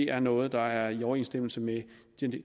er noget der er i overensstemmelse med